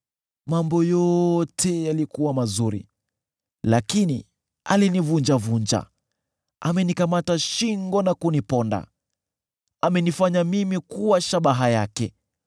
Mambo yote yalikuwa mazuri, lakini alinivunjavunja; amenikamata shingo na kuniponda. Amenifanya mimi kuwa shabaha yake;